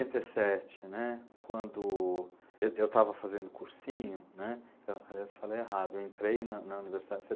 Em setenta e sete, né, quando eu eu estava fazendo cursinho, né, aliás, falei errado, eu entrei na na Universidade em